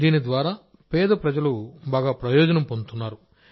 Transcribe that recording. దీని ద్వారా పేద ప్రజలు చాలా ప్రయోజనం పొందుతున్నారు